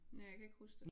Ja jeg kan ikke huske det